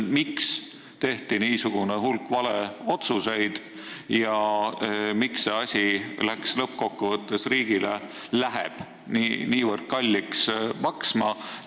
Miks tehti niisugune hulk valeotsuseid ja miks läheb see asi lõppkokkuvõttes riigile niivõrd kalliks maksma?